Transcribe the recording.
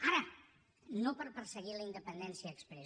ara no per perseguir la independència exprés